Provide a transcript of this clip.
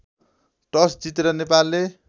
toss जितेर नेपालले